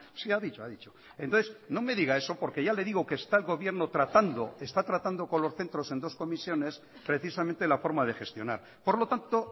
sí ha dicho ha dicho entonces no me diga eso porque ya le digo que está el gobierno tratando está tratando con los centros en dos comisiones precisamente la forma de gestionar por lo tanto